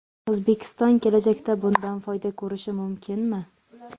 O‘zbekiston kelajakda bundan foyda ko‘rishi mumkinmi?